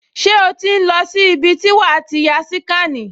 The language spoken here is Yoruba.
Ṣé o ti ń lọ sí ibi tí wàá ti ya síkànì?